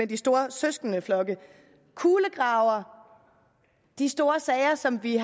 de store søskendeflokke kulegraver de store sager som vi